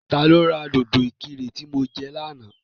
Ta ló ra dòdò ìkirè tí mo jẹ lánàá?